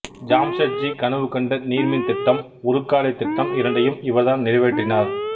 ஜாம்ஷெட்ஜி கனவு கண்ட நீர்மின் திட்டம் உருக்காலைத் திட்டம் இரண்டையும் இவர்தான் நிறைவேற்றினார்